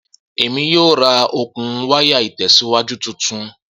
Emi yoo ra okun waya itẹsiwaju tuntun